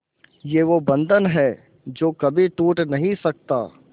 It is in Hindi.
ये वो बंधन है जो कभी टूट नही सकता